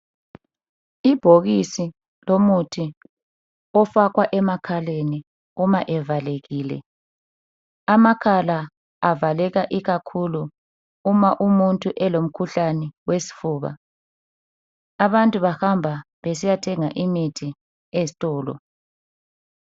Ibhokisi lomuthi ofakwa emakhaleni uma evalekile. Amakhala avaleka ikakhulu uma umuntu elemkhuhlane wesfuba. Abantu bahamba besiyathenga imithi ezitolo.